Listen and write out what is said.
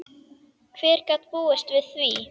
Hver gat búist við því?